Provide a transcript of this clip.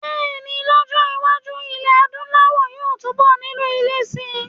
Bẹ́ẹ̀ ni, lọ́jọ́-iwájú, ilẹ̀ Adúláwọ̀ yóò túnbọ̀ nílò ilé síi.